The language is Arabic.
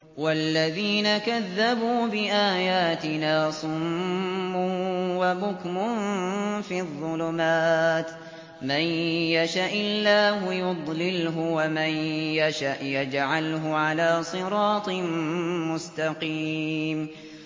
وَالَّذِينَ كَذَّبُوا بِآيَاتِنَا صُمٌّ وَبُكْمٌ فِي الظُّلُمَاتِ ۗ مَن يَشَإِ اللَّهُ يُضْلِلْهُ وَمَن يَشَأْ يَجْعَلْهُ عَلَىٰ صِرَاطٍ مُّسْتَقِيمٍ